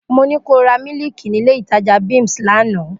Mo ní ko ra mílíìkì nílé ìtajà Bims lánàá!